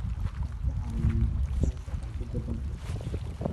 Waxay ka caawiyaan bixinta cunto jaban.